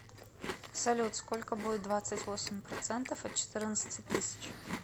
салют сколько будет двадцать восемь процентов от четырнадцати тысяч